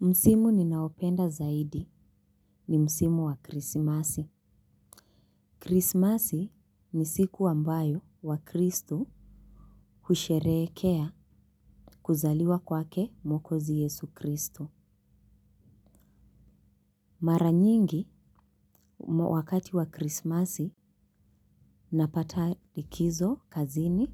Msimu ninaopenda zaidi ni msimu wa krisimasi. Krisimasi ni siku ambayo wakristo husherehekea kuzaliwa kwake mwokozi yesu kristo. Mara nyingi wakati wa krisimasi napata likizo kazini